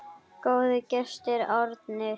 Góður gestur, Árni.